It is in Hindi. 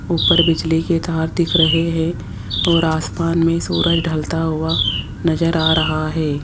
ऊपर बिजली के तार दिख रहे हैं और आसमान में सूरज ढलता हुआ नजर आ रहा है।